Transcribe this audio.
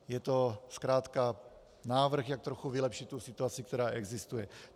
Je to zkrátka návrh, jak trochu vylepšit tu situaci, která existuje.